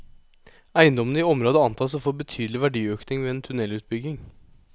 Eiendommene i området antas å få betydelig verdiøkning ved en tunnelutbygging.